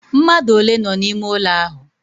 Mmadu ole no n'ime ulo ahu?